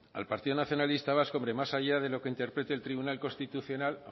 al partido nacionalista vasco más allá de lo que interprete el tribunal constitucional